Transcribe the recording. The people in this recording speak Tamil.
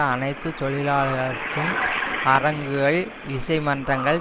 அனைத்து தொழிலாளர்களுக்கும் அரங்குகள் இசை மன்றங்கள்